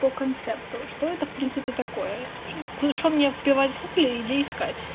по концепту что это в принципе такое что мне плевать кукле и где искать